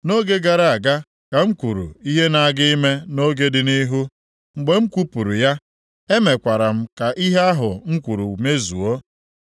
Nʼoge gara aga ka m kwuru ihe na-aga ime nʼoge dị nʼihu. Mgbe m kwupụrụ ya, emekwara m ka ihe ahụ m kwuru mezuo.